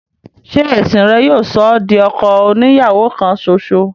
ṣe ẹ̀sìn rẹ̀ yóò sọ ọ́ di ọkọ oni ìyàwó kan ṣoṣo?